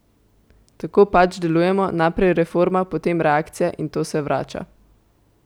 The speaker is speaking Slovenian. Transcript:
Tako pač delujemo, najprej reforma, potem reakcija in to se vrača.